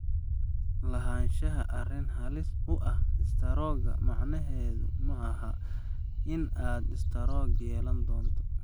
Lahaanshaha arrin halis u ah istaroogga macnaheedu maaha in aad istaroog yeelan doonto.